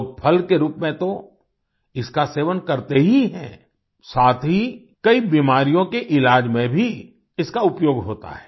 लोग फल के रूप में तो इसका सेवन करते ही हैं साथ ही कई बीमारियों के इलाज में भी इसका उपयोग होता है